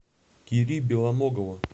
кири белоногова